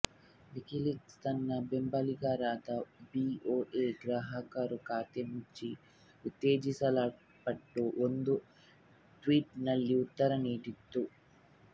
WikiLeaks ತನ್ನ ಬೆಂಬಲಿಗರಾದ BOA ಗ್ರಾಹಕರು ಖಾತೆ ಮುಚ್ಚಿ ಉತ್ತೇಜಿಸಲ್ಪಟ್ಟು ಒಂದು ಟ್ವೀಟ್ ನಲ್ಲಿ ಉತ್ತರ ನೀಡಿತು